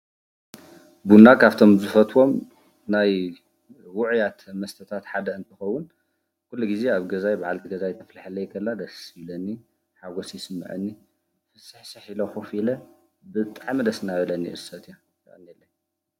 ቡና ካብቶም ዝፈትዎም ናይ ውዑያት መስተታት ሓደ እንትከውን፤ ኩሉ ግዜ አብ ገዛይ በዓልቲ ገዛይ ተፍልሐለይ ከላ ደስ ይብለኒ፡፡ ሓጎስ ይስመዐኒ፡፡ ፍስሕስሕ ኢለ ኮፈ ኢለ ብጣዕሚ ደስ እንዳበለኒ እየ ዝሰትዮ፡፡